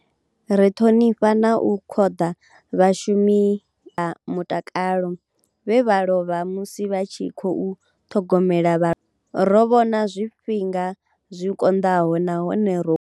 Ri ṱhonifha na u khoḓa vhashumi vha mutakalo vhe vha lovha musi vha tshi khou ṱhogomela vha. Ro vhona zwifhinga zwi konḓaho nahone ro.